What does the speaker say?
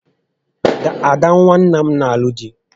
Ada nwa nna m nà alụ di